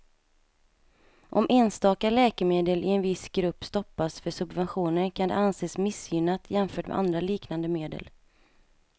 Om enstaka läkemedel i en viss grupp stoppas för subventioner kan det anses missgynnat jämfört med andra liknande medel.